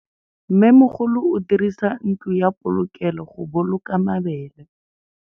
Mmêmogolô o dirisa ntlo ya polokêlô, go boloka mabele.